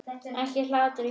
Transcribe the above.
Ekki hlátur í huga.